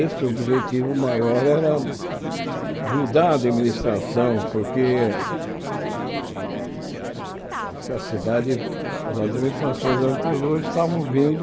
Esse objetivo maior era eh mudar a administração, porque a a cidade as administrações anteriores estavam vindo...